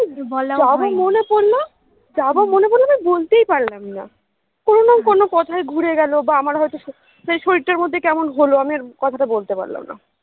তারপরে মনে পড়লো যে বলতেই পারলাম না কোনো না কোনো কথায় ঘুরে গেলো বা আমার হয়তো সেই শরীর টার মধ্যে কেমন হলো আমি আর কথাটা বলতে পারলাম না